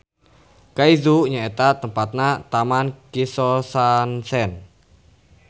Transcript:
Kaizu nyaeta tempatna Taman Kisosansen.